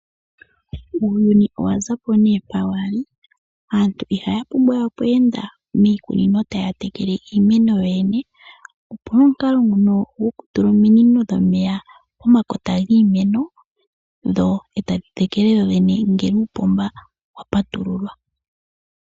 Uuyuni owaza po nee mpa wali, aantu iha ya pumbwa okweenda miikunino taya tekele iimeno yo yene. Opuna omukalo nguno goku tula ominino po makota giimeno, dho e ta dhi tekele dho dhene ngele uupomba wa patululwa.